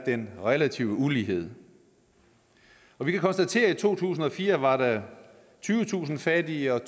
den relative ulighed vi kan konstatere at der i to tusind og fire var tyvetusind fattige og